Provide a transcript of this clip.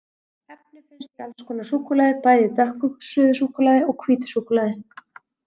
Efni finnst í alls konar súkkulaði, bæði í dökku suðusúkkulaði og hvítu súkkulaði.